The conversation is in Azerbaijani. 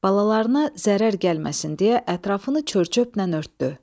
Balalarına zərər gəlməsin deyə ətrafını çör-çöplə örtdü.